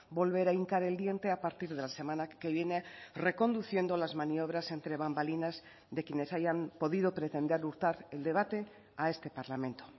volver a hincar el diente a partir de la semana que viene reconduciendo las maniobras entre bambalinas de quienes hayan podido pretender hurtar el debate a este parlamento